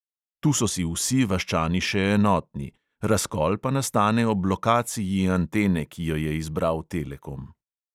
Tu so si vsi vaščani še enotni – razkol pa nastane ob lokaciji antene, ki jo je izbral telekom.